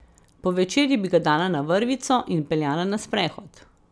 Po večerji bi ga dala na vrvico in peljala na sprehod.